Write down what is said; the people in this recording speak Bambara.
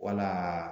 Wala